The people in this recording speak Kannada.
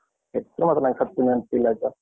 ಹೆಸ್ರು ಮಾತ್ರ ನನ್ಗೆ ಸತ್ಯ ನೆನ್ಪಿಲ್ಲ ಆಯ್ತ?